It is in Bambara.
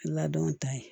Ladon ta ye